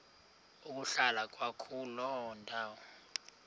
ukuhlala kwakuloo ndawo